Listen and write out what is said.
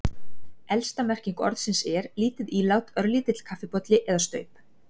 Elsta merking orðsins er, lítið ílát, örlítill kaffibolli eða staup.